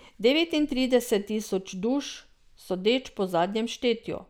Devetintrideset tisoč duš, sodeč po zadnjem štetju.